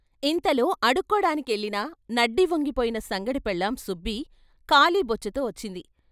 ఇంతలో అడుక్కోడాని కెళ్ళిన, నడ్డి వంగిపోయిన సంగడి పెళ్ళాం సుబ్బి ఖాళీ బొచ్చెతో వచ్చింది.